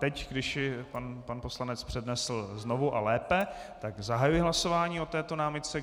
Teď když ji pan poslanec přednesl znovu a lépe, tak zahajuji hlasování o této námitce.